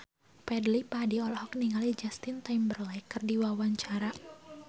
Fadly Padi olohok ningali Justin Timberlake keur diwawancara